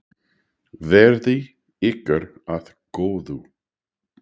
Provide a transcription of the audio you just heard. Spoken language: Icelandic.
Verði ykkur að góðu.